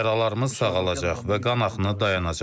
Yaralarımız sağalacaq və qanaxma dayanacaq.